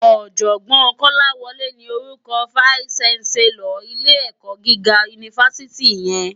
Òjògbòn Kolawole ni órúkò fáìsí ṣánsèlòr ilé èkò gigá unifásití yèn